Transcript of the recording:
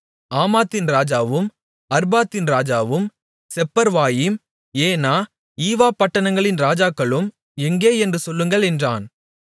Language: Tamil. ஆமாத்தின் ராஜாவும் அர்பாத்தின் ராஜாவும் செப்பர்வாயிம் ஏனா ஈவா பட்டணங்களின் ராஜாக்களும் எங்கே என்று சொல்லுங்கள் என்றான்